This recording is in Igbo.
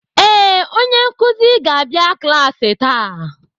Ee, onye nkuzi ga-yabia klaasị taa.